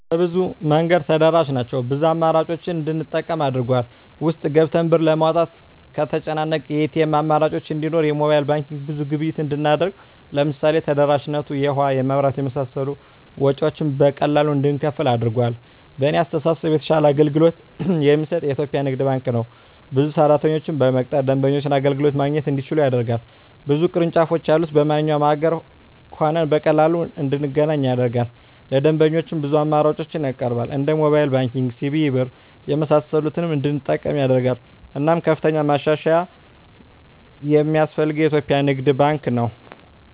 በብዙ መንገድ ተደራሽ ናቸው ብዙ አማራጮችን እንድንጠቀም አድርጎል። ውስጥ ገብተን ብር ለማውጣት ከተጨናነቀ የኤቲኤም አማራጮች እንዲኖር የሞባይል ባንኪንግ ብዙ ግብይት እንድናደርግ ለምሳሌ ተደራሽነቱ የውሀ, የመብራት የመሳሰሉ ወጭወችን በቀላሉ እንድንከፍል አድርጓል። በእኔ አስተሳሰብ የተሻለ አገልግሎት የሚሰጥ የኢትዪጵያ ንግድ ባንክ ነው። ብዙ ሰራተኞችን በመቅጠር ደንበኞች አገልግሎት ማግኘት እንዲችሉ ያደርጋል። ብዙ ቅርንጫፎች ያሉት በማንኛውም አገር ሆነን በቀላሉ እንድናገኝ ያደርጋል። ለደንበኞች ብዙ አማራጮችን ያቀርባል እንደ ሞባይል ባንኪንግ, ሲቢኢ ብር , የመሳሰሉትን እንድንጠቀም ያደርጋል። እናም ከፍተኛ ማሻሻያ የማስፈልገው የኢትዮጵያ ንግድ ባንክ ነው።